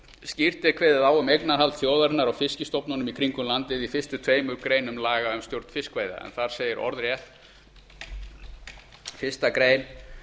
skýrt er kveðið á um eignarhald þjóðarinnar á fiskstofnunum í kringum landið í fyrstu tveimur greinum laga um stjórn fiskveiða þar segir orðrétt fyrstu grein